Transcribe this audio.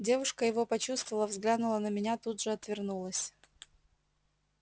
девушка его почувствовала взглянула на меня тут же отвернулась